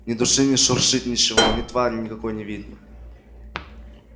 ни души не шуршит ничего ни твари никакой не видно